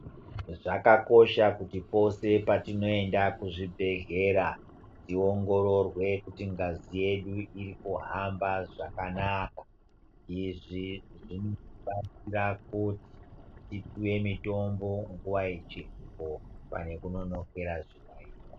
Zvakakosha kutipose patinoenda kuzvibhedhleya tiongorirwe kuti ngazi yedu irikuhamba zvakanaka izvi zvinobatsira kuti tipuwe mitombo nguwa ichiripo pane kunonokera zviyaiyo.